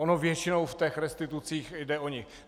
Ono většinou v těch restitucích jde o ni.